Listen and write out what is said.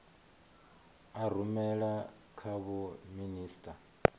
a rumela kha vho minisita